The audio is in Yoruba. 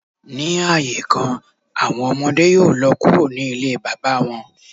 Ni aaye kan, awọn ọmọde yoo lọ kuro ni ile baba wọn.